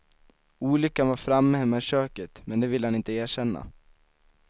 Olyckan var framme hemma i köket, men det vill han inte erkänna.